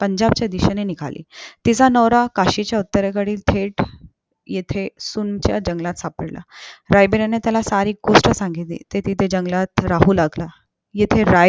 पंजाबच्या दिशेने निघाली तिचा नवरा कशी उत्तरेकडे थेट येथे सुनाम्च्या जंगलात सापडला रायबिराने त्याला सारी गोष्ट सांगितली ते तिथे जंगलात राहू लागला येथे राय